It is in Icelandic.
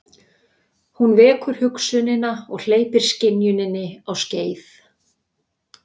Hún vekur hugsunina og hleypir skynjuninni á skeið.